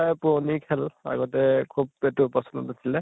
বায় পুৰণি খেল, আগতে খুব এইটো আছিলে